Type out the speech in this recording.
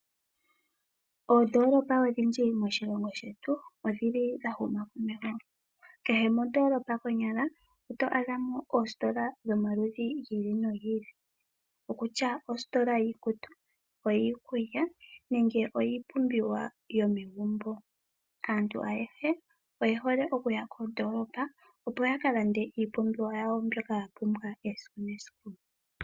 Oondolopa odhindji moshilongo shetu odhili dha huma komeho. Kehe kondolopa konyala oto adha mo dhomaludhi gi ili nogi ili. Okutya ositola yiikutu, oyiikulya nenge oyiipumbiwa yomegumbo. Aantu ayehe oye hole okuya kondolopa opo ya ka lande iipumbiwa yawo mbyoka ya pumbwa esiku nesiku.